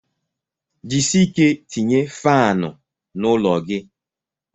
Jisie ike tinye faanụ n'ụlọ gi